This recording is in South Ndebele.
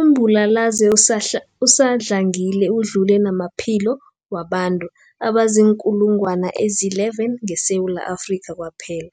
Umbulalazwe usadlangile udlule namaphilo wabantu abaziinkulungwana ezi-11 ngeSewula Afrika kwaphela.